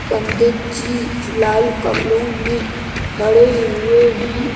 पण्डित जी लाल कपड़ों में खड़े हुए हैं।